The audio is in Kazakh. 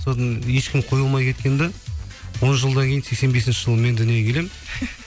сосын ешкім қоя алмай кеткен де он жылдан кейін сексен бесінші жылы мен дүниеге келемін